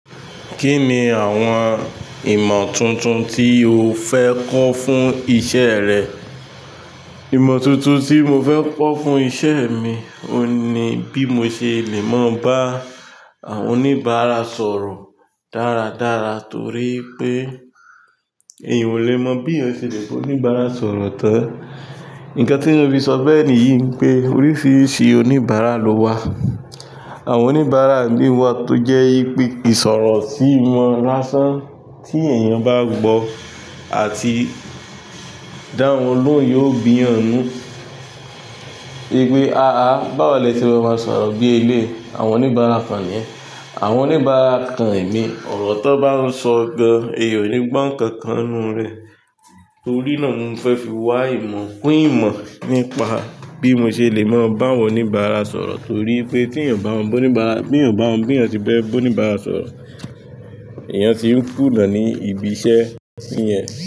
Kí ni àwọn ìmọ̀ tuntun tí o fẹ́ kọ́ fún iṣẹ́ rẹ? Ìmọ̀ tuntun tí mo fẹ́ kọ́ fún iṣẹ́ mi, òun ní bí mo ṣe lè mọ bá oníbàárà sọ̀rọ̀ dáradára torí pé èyàn ò lè mọ bí èyàn ṣe lè ba oníbàárà sọ̀rọ̀ tán. Ǹkan tí mo fi sọ bẹ́ẹ̀ nìyí pé oríṣiríṣi oníbàárà ló wà. Àwọn oníbàárà mí wà tó jẹ́ pé ìsọ̀rọ̀ sì wọn lásán tí èyàn bá gbọ́ àti dáhùn lóhùn yóò bi'yàn nù. Pe a a báwọ̀lẹ́ se má ma sọ̀rọ̀ bí elé àwọn oníbàárà kan niyen. Àwọn oníbàárà kan mi ọ̀rọ̀ tó bá ń sọ gan, èyàn ò ní gbọ́ ǹkan kan nínú rẹ̀. Torí náà mo fẹ́ fi wá ìmọ̀ pín ìmọ̀ nípa bí mo ṣe lè mọ bá àwọn oníbàárà sọ̀rọ̀ torí pé tí èèyàn bá ń bá oníbàárà, bí èyàn bámo bí èyàn ṣe fe bẹ́ ba oníbàárà sọ̀rọ̀, èyàn ti ń kùnà ní ibi iṣẹ́ yẹn.